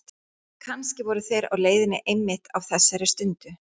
Kannski voru þeir á leiðinni einmitt á þessari stundu.